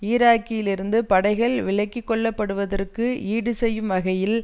ஈராக்கிலிருந்து படைகள் விலக்கிக்கொள்ளப்படுவதற்கு ஈடு செய்யயும் வகையில்